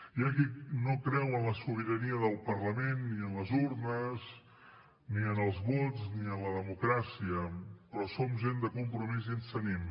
hi ha qui no creu en la sobirania del parlament ni en les urnes ni en els vots ni en la democràcia però som gent de compromís i ens tenim